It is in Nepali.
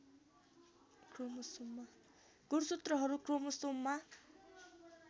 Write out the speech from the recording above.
गुणसूत्रहरू क्रोमोसोममा